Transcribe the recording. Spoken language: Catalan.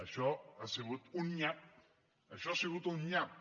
això ha sigut un nyap això ha sigut un nyap